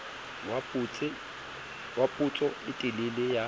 wa potso e telele ya